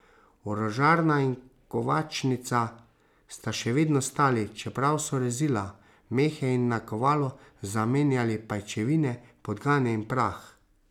Orožarna in kovačnica sta še vedno stali, čeprav so rezila, mehe in nakovalo zamenjali pajčevine, podgane in prah.